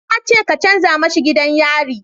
Na ce ka canja mishi gidan yari